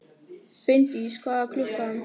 Finndís, hvað er klukkan?